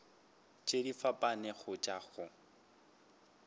tše di fapanego tša go